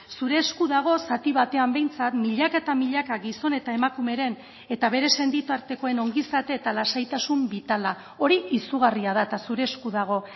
zure esku dago zati batean behintzat milaka eta milaka gizon eta emakumeren eta bere senitartekoen ongizate eta lasaitasun bitala hori izugarria da eta zure esku dago